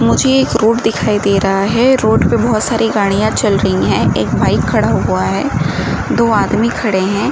मुझे एक रोड दिखाई दे रहा है। रोड पे बोहोत सारी गाड़ियाँ चल रही हैं। एक बाइक खड़ा हुआ है। दो आदमी खड़े हैं।